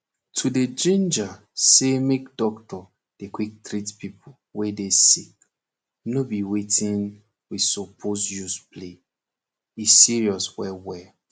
to dey ginger say make doctor dey quick treat pipo wey dey sick nor be wetin we supose use play e serious well well